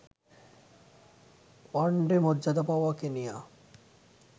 one day মর্যাদা পাওয়া Kenya